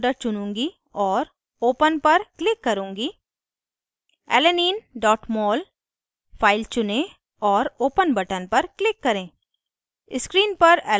मैं desktop folder चुनूँगी और open पर click करुँगी alanine mol फाइल चुनें और open button पर click करें